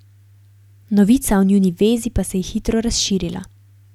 Novica o njuni vezi pa se je hitro razširila.